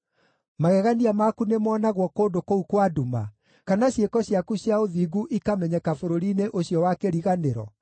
Magegania maku nĩmonagwo kũndũ kũu kwa nduma, kana ciĩko ciaku cia ũthingu ikamenyeka bũrũri-inĩ ũcio wa kĩriganĩro?